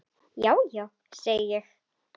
Nonni ekki heldur.